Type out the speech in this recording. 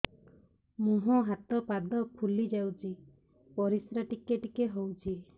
ମୁହଁ ହାତ ପାଦ ଫୁଲି ଯାଉଛି ପରିସ୍ରା ଟିକେ ଟିକେ ହଉଛି